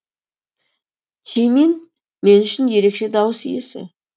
чимин мен үшін ерекше дауыс иесі